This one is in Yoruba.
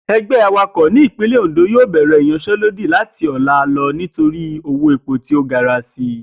E̩gbé̩ awakò̩ ìpínlè̩ Òndò yóò bè̩rè̩ ìyansé̩lódì láti ò̩la nítorí owó epo tí ó gara si